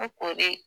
ko de